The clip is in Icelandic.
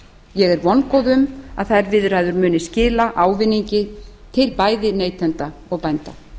ég er vongóð um að þær viðræður muni skila ávinningi til bæði neytenda og bænda